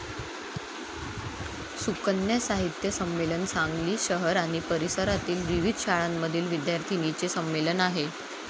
सुकन्या साहित्य संमेलन सांगली शहर आणि परिसरातील विविध शाळांमधील विद्यार्थिनींचे संमेलन आहे.